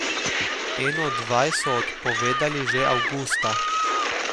Eno od vaj so odpovedali že avgusta.